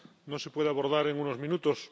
No se puede abordar en unos minutos.